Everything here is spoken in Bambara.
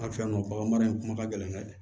An fɛ yan nɔ baganmara in kuma ka gɛlɛn dɛ